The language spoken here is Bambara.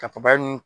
Ka fabaru